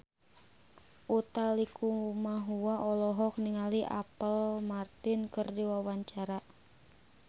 Utha Likumahua olohok ningali Apple Martin keur diwawancara